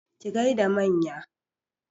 Ki gaida manya!